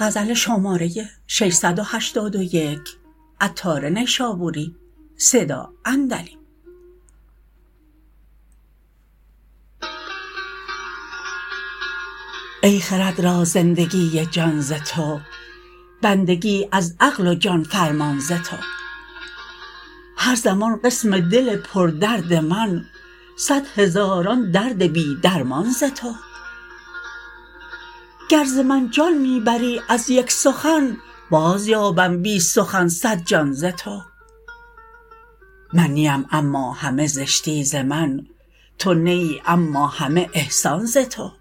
ای خرد را زندگی جان ز تو بندگی از عقل و جان فرمان ز تو هر زمان قسم دل پر درد من صد هزاران درد بی درمان ز تو گر ز من جان می بری از یک سخن باز یابم بی سخن صد جان ز تو من نیم اما همه زشتی ز من تو نه ای اما همه احسان ز تو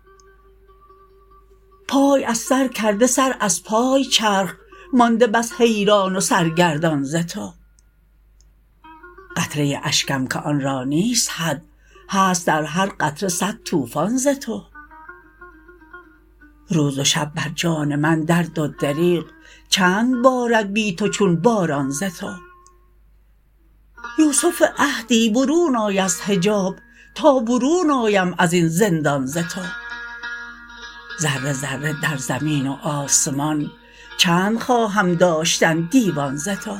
پای از سر کرده سر از پای چرخ مانده بس حیران و سرگردان ز تو قطره اشکم که آن را نیست حد هست در هر قطره صد طوفان ز تو روز و شب بر جان من درد و دریغ چند بارد بی تو چون باران ز تو یوسف عهدی برون آی از حجاب تا برون آیم ازین زندان ز تو ذره ذره در زمین و آسمان چند خواهم داشتن دیوان ز تو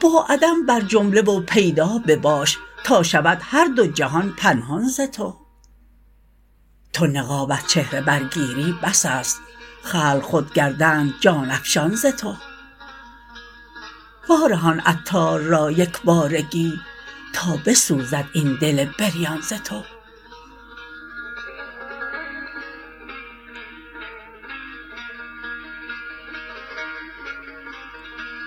با عدم بر جمله و پیدا بباش تا شود هر دو جهان پنهان ز تو تو نقاب از چهره برگیری بس است خلق خود گردند جان افشان ز تو وارهان عطار را یکبارگی تا بسوزد این دل بریان ز تو